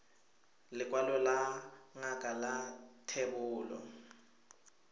lekwalo la ngaka la thebolo